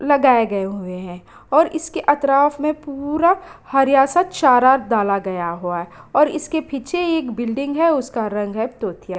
लगाए गए हुए हैं और इसके अतराफ में पूरा हरिया-सा चारा डाला गया हुआ है और इसके पीछे एक बिल्डिंग है उसका रंग तोतिया --